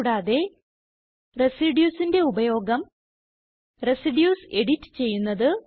കൂടാതെ Residuesന്റെ ഉപയോഗം റെസിഡ്യൂസ് എഡിറ്റ് ചെയ്യുന്നത്